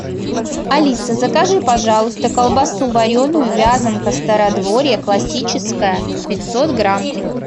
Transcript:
алиса закажи пожалуйста колбасу вареную вязанка стародворье классическая пятьсот грамм